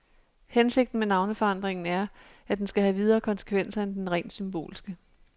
Hensigten med navneforandringen er, at den skal have videre konsekvenser end den rent symbolske.